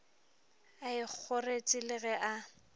a ikhoretše le ge a